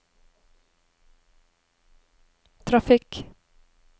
trafikk